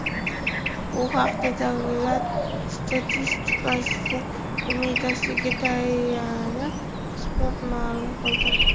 Bu haqda Davlat statistika qo‘mitasiga tayanib, Spot ma’lum qildi .